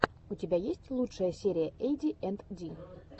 у тебя есть лучшая серия эйди энд ди